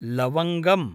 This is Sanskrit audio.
लवङ्गम्